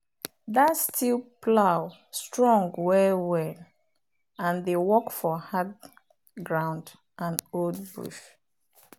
that steel plow strong well-well and dey work for hard ground and old bush.